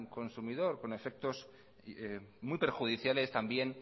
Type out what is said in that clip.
consumidor con efectos muy perjudiciales también